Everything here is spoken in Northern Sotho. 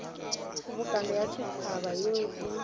kgobokano ya setšhaba yeo e